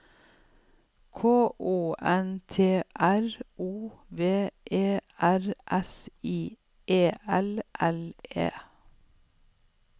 K O N T R O V E R S I E L L E